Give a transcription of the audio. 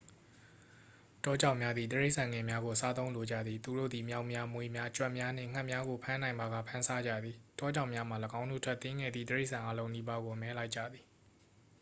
တောကြောင်များသည် တိရစ္ဆာန်ငယ်များကို စားသုံးလိုကြသည် သူတို့သည် မျောက်များ မြွေများ ကြွက်များနှင့် ငှက်များကို ဖမ်းနိုင်ပါက ဖမ်းစားကြသည် တောကြောင်များမှာ ၎င်းတို့ထက် သေးငယ်သည့် တိရစ္ဆာန်အားလုံးနီးပါးကို အမဲလိုက်ကြသည်